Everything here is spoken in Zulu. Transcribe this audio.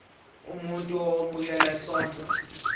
umuntu owemukela isondlo